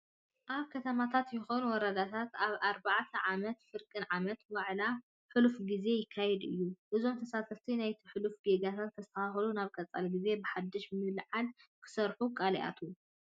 ኣብ ከተማታት ይኹን ወረዳታት ኣብ ርባዕ ኣመትን ፍርቂ ዓመትን ዋዕላ ሕሉፍ ግዜ ይካይዱ እዮም። እዞም ተሳተፍቲ ናይቲ ህሉፍ ጌጋታት ንከስታኻኽሉን ናብ ቀፃሊ ግዜ ብሓዱሽ ምልዕዓል ክሰርሑ ቃል ይኣትው።